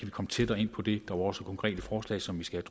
komme tættere ind på det var også konkrete forslag som vi skal